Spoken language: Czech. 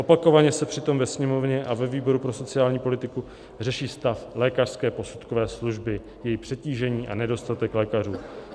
Opakovaně se přitom ve Sněmovně a ve výboru pro sociální politiku řeší stav lékařské posudkové služby, její přetížení a nedostatek lékařů.